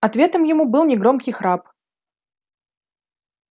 ответом ему был негромкий храп